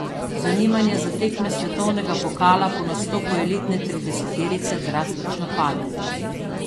Zanimanje za tekme svetovnega pokala po nastopu elitne trideseterice drastično pade.